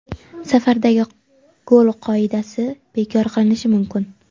Safardagi gol qoidasi bekor qilinishi mumkin.